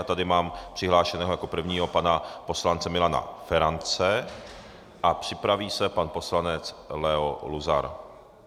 A tady mám přihlášeného jako prvního pana poslance Milana Ferance a připraví se pan poslanec Leo Luzar.